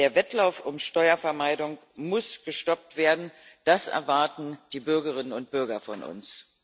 Der Wettlauf um Steuervermeidung muss gestoppt werden das erwarten die Bürgerinnen und Bürger von uns.